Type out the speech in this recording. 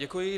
Děkuji.